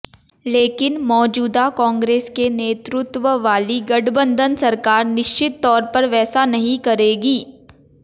लेकिन मौजूदा कांग्रेस के नेतृत्व वाली गठबंधन सरकार निश्चित तौर पर वैसा नहीं करेगी